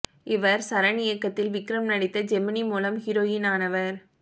இவர் சரண் இயக்கத்தில் விக்ரம் நடித்த ஜெமினி மூலம் ஹீரோயின் ஆனவர்